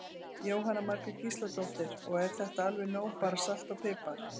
Jóhanna Margrét Gísladóttir: Og er þetta alveg nóg bara salt og pipar?